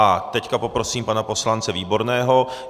A teď poprosím pana poslance Výborného.